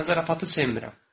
Mən zarafatı sevmirəm.